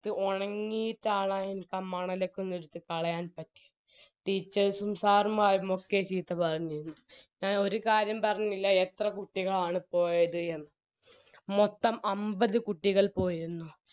ഒണങ്ങിട്ടാണ് മ് മണലൊക്കെ എടുത്ത് കളയാൻ പറ്റു teachers ഉം sir മ്മാരും ഒക്കെ ചീത്ത പറഞ്ഞു എ ഒരു കാര്യം പറഞ്ഞില്ല എത്ര കുട്ടികളാണ് പോയത് എന്ന് മൊത്തം അമ്പത് കുട്ടികൾ പോയിരുന്നു